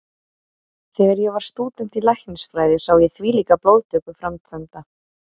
Þegar ég var stúdent í læknisfræði sá ég þvílíka blóðtöku framkvæmda.